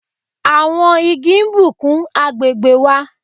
Àwọn Igi n bùkún agbègbè wà